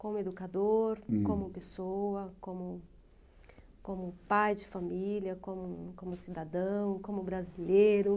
Como educador, hm, como pessoa, como como pai de família, como como cidadão, como brasileiro.